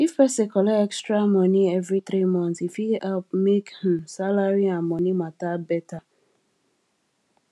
if person collect extra money every three months e fit help make um salary and money matter better